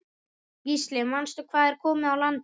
Gísli: Manstu hvað er komið á landi?